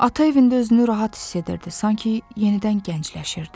Ata evində özünü rahat hiss edirdi, sanki yenidən gəncləşirdi.